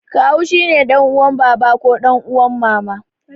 Kawu shine ɗan uwan baba ko ɗan uwan mama.